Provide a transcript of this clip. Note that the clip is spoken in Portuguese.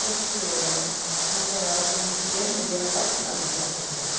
Porque ela namorava com um chileno e era apaixonadíssima por chileno.